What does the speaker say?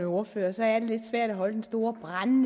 ordføreren så er det fru anne